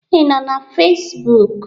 Ị nọ na Facebook?